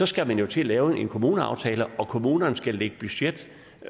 skal man jo til at lave en kommuneaftale og kommunerne skal lægge budget